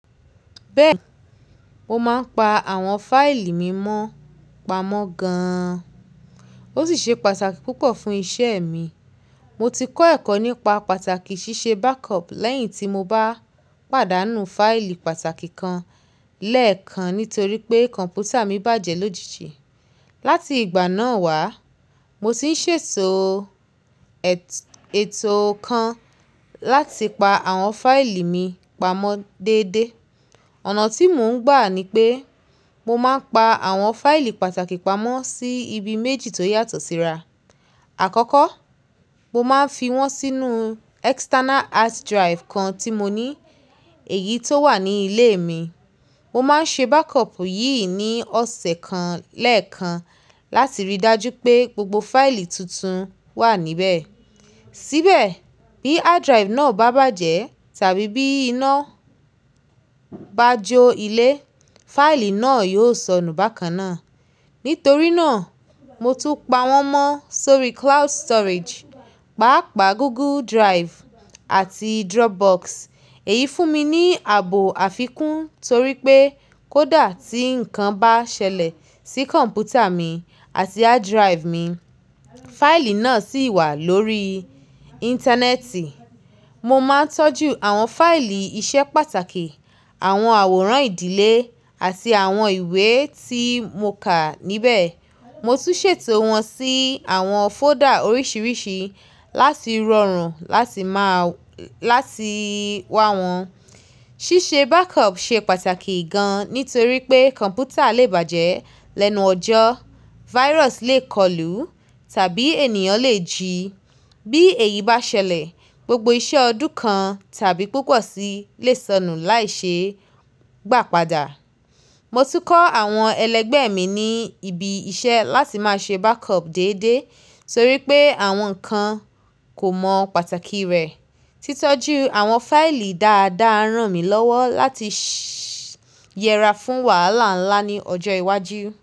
Bẹ́ẹ̀ni, mo máa ń pa àwọn fáìlì mi mọ́ pamọ́ gan-an. Ó sì ṣe pàtàkì púpọ̀ fún iṣẹ́ mi. Mo ti kọ́ ẹ̀kọ́ nípa pàtàkì ṣíṣe backup lẹ́yìn tí mo bá pàdánù fáìlì pàtàkì kan lẹ́ẹ̀kan nítorí pé kọ̀m̀pútà mi bàjẹ́ lójijì. Láti ìgbà náà wá, mo sì ń ṣètò ètò kan láti pa àwọn fáìlì mi pamọ́ déédé. Ọ̀nà tí mò ń gbà ni pé mo máa ń pa àwọn fáìlì pàtàkì pamọ́ sí ibi méjì tó yàtọ̀ síra. Àkọ́kọ́, mo máa ń fi wọ́n sínú external hard drive kan tí mo ní èyí tó wà ní ilé mi. Mo máa ń ṣe backup yìí ní ọ̀sẹ̀ kan lẹ́ẹ̀kan láti ríi dájú pé gbogbo fáìlì tuntun wà níbẹ̀. Síbẹ̀ bí hard drive náà bá bàjẹ́ tàbí bí iná bá jo ilé, fáìlì náà yóò sọnù bákan náà. Nítorí náà, mo tún pa wọ́n mọ́ sórí cloud storage, pàápàá Google Drive àti Dropbox. Èyí fún mi ní ààbò àfikún torí pé kó dà tí nǹkan bá ṣẹlẹ̀ sí kọ̀m̀pútà mi àti hard drive mi, fáìlì náà sì wà lórí Íńtánẹ́ẹ̀tì. Mo máa ń tọ́jú àwọn fáìlì iṣẹ́ pàtàkì, àwọn àwòrán ìdílé àti àwọn ìwé tí mo kà níbẹ̀. Mo tún ṣètò wọn sí àwọn folder oríṣiríṣi láti rọrùn láti máa láti wá wọn. Ṣíṣe backup ṣe pàtàkì gan nítorí pé kọ̀m̀pútà lè bàjẹ́ lẹ́nu ọjọ́, virus lè kọlù tàbí ènìyàn lè jí. Bí èyí bá ṣẹlẹ̀, gbogbo iṣẹ́ ọdún kan tàbí púpọ̀ sí i lè sọnù láìṣe gbà padà. Mo ti kọ́ àwọn ẹlẹgbẹ́ mi ní ibi iṣẹ́ láti máa ṣe backup déédé torí pé àwọn kan kò mọ pàtàkì rẹ̀. Títọ́jú àwọn fáìlì dáadáa rán mi lọ́wọ́ láti yẹra fún wàhálà ńlá ní ọjọ́ iwájú.